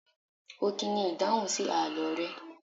Ọkini ni ìdáhùn sí àlọ́ rẹ.